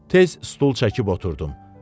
Tez stul çəkib oturdum.